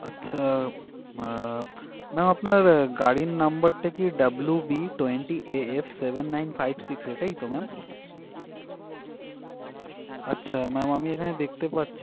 আচ্ছা আহ ma'am আপনার গাড়ির number টা কি WB twenty AF seven nine five six তাই তো ma'am? আচ্ছা mam আমি এখানে দেখতে পাচ্ছি